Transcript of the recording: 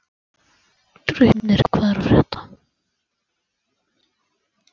Draupnir, hvað er að frétta?